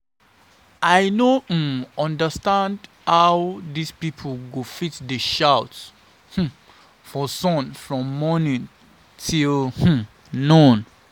I no um understand how dis people go fit dey shout um for sun from morning till um noon